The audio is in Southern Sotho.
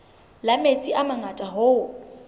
la metsi a mangata hoo